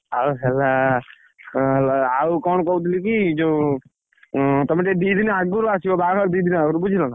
ଆଉ ହେଲା ଆଉ କଣ କହୁଥିଲି କି ଯୋଉ ତମେ ଟିକେ ଦି ଦିନ ଆଗରୁ ଆସିବ, ବାହାଘର ଦି ଦିନ ଆଗରୁ ବୁଝିଲ ନା?